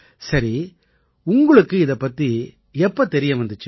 சரி உங்களுக்கு இதுபத்தி எப்படி தெரிய வந்திச்சு